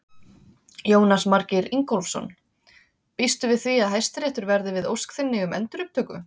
Jónas Margeir Ingólfsson: Býstu við því að Hæstiréttur verði við ósk þinni um endurupptöku?